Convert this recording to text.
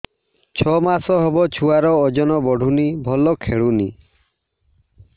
ଛଅ ମାସ ହବ ଛୁଆର ଓଜନ ବଢୁନି ଭଲ ଖେଳୁନି